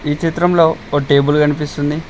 ఈ చిత్రంలో ఒక టేబుల్ కనిపిస్తుంది